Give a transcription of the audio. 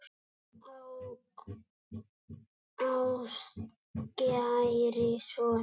Ástkæri sonur